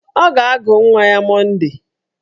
Ọ ga-agụ nwa ya Monde